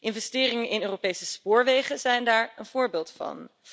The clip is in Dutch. Investeringen in Europese spoorwegen zijn daar een voorbeeld van.